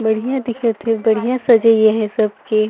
बढ़िया दिखत हे बढ़िया सजाई हे सब के --